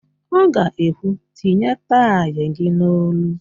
Ọ ga-ekwu, "tinye taị gị n'olu"!